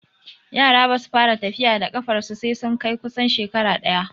Yara basu fara tafiya da ƙafarsu sai sun kai kusan shekara ɗaya